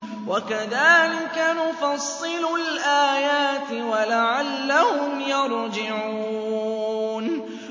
وَكَذَٰلِكَ نُفَصِّلُ الْآيَاتِ وَلَعَلَّهُمْ يَرْجِعُونَ